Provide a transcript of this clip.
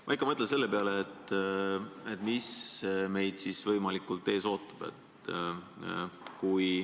Ma ikka mõtlen selle peale, et mis meid võib siis ees oodata.